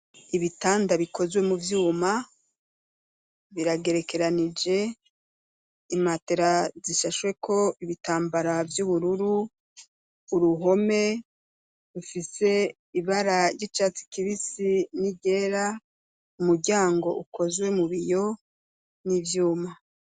Ibitanda bikozwe mu vyuma biragerekeranije imatera zishashweko ibitambara vy'ubururu uruhome bufise ibara ry'icatsi kibisi n'igera umuryango ukozwe mu biyo n'ivyuma.